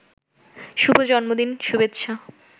শুভ জন্মদিন শুভেচ্ছা